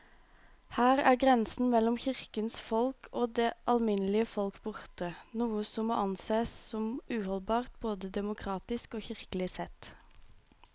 Her er grensen mellom kirkens folk og det alminnelige folk borte, noe som må ansees som uholdbart både demokratisk og kirkelig sett.